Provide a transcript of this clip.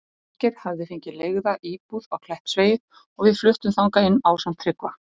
Þorgeir hafði fengið leigða íbúð á Kleppsvegi og við fluttum þangað inn ásamt Tryggva.